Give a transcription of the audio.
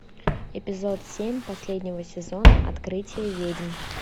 эпизод семь последнего сезона открытие ведьм